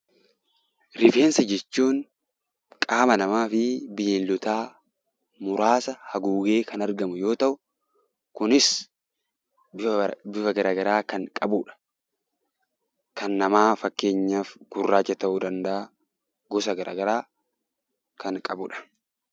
Rifeensa jechuun qaama namaa fi bineeldotaa muraasa haguugee kan argamu yemmuu ta'u, kunis bifa garaagaraa kan qabudha. Kan namaa fakkeenyaaf gurraacha ta'uu danda'a. Gosa garaagaraa kan qabudha.